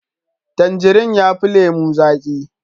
Tangirin yafi lemo zaki